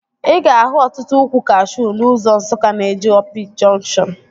Ị ga-ahụ ọtụtụ ukwu kashuu n'ụzọ Nsukka na-eje Opi jọnkshọn